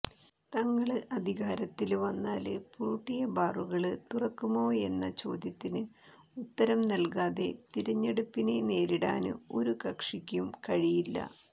തങ്ങള് അധികാരത്തില് വന്നാല് പൂട്ടിയ ബാറുകള് തുറക്കുമോയെന്ന ചോദ്യത്തിന് ഉത്തരം നല്കാതെ തിരഞ്ഞെടുപ്പിനെ നേരിടാന് ഒരു കക്ഷിക്കും കഴിയില്ല